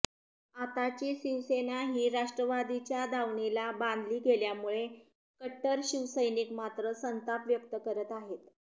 आताची शिवसेना ही राष्ट्रवादीच्या दावणीला बांधली गेल्यामुळे कट्टर शिवसैनिक मात्र संताप व्यक्त करत आहेत